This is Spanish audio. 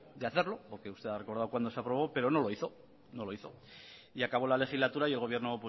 de hacerlo porque usted ha recordado cuando se aprobó pero no lo hizo no lo hizo y acabó la legislatura y el gobierno